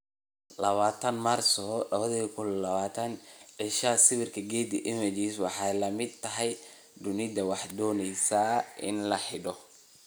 20 Maarso 2020 Isha sawirka, Getty Images Waxay la mid tahay dunidu waxay doonaysaa in la xidho.